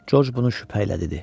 Corc bunu şübhə ilə dedi.